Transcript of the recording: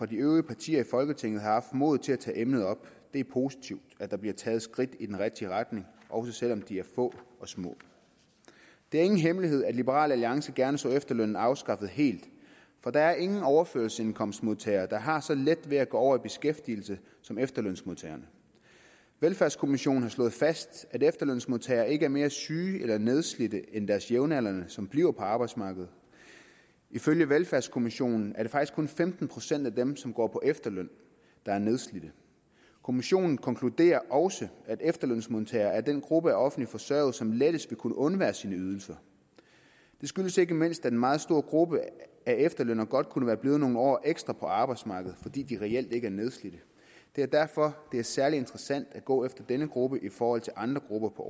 de øvrige partier i folketinget har haft modet til at tage emnet op det er positivt at der bliver taget skridt i den rigtige retning også selv om de er få og små det er ingen hemmelighed at liberal alliance gerne så efterlønnen afskaffet helt for der er ingen overførselsindkomstmodtagere der har så let ved at gå over i beskæftigelse som efterlønsmodtagerne velfærdskommissionen har slået fast at efterlønsmodtagere ikke er mere syge eller nedslidte end deres jævnaldrende som bliver på arbejdsmarkedet ifølge velfærdskommissionen er det faktisk kun femten procent af dem som går på efterløn der er nedslidte kommissionen konkluderer også at efterlønsmodtagere er den gruppe af offentligt forsørgede som lettest vil kunne undvære sine ydelser det skyldes ikke mindst at en meget stor gruppe af efterlønnere godt kunne være blevet nogle år ekstra på arbejdsmarkedet fordi de reelt ikke er nedslidte det er derfor det er særlig interessant at gå efter denne gruppe i forhold til andre grupper på